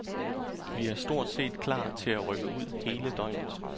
Vi er stort set er klar til at rykke ud hele døgnet.